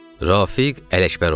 Rafiq Ələkbəroğlu.